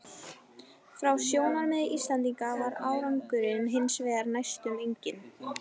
Frá sjónarmiði Íslendinga var árangurinn hins vegar næstum enginn.